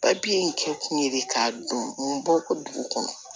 in kɛ kun ye k'a don bɔ ko dugu kɔnɔ